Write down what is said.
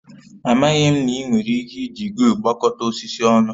Amaghị m na ị nwere ike iji gluu gbakọta osisi ọnụ